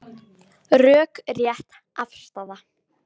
Rökrétt afstaða